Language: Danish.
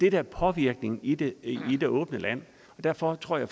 er påvirkningen i det åbne land derfor tror jeg